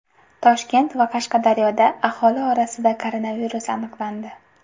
Toshkent va Qashqadaryoda aholi orasida koronavirus aniqlandi.